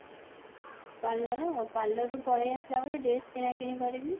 parlour parlour ରୁ ପଳେଇ ଆସିଲା ପରେ dress କିଣା କିଣି କରିବି